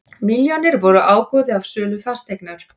Milljónirnar voru ágóði af sölu fasteignar